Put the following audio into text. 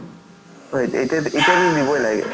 হয়, এতিএতিয়া এতিয়াতো দিবই লাগে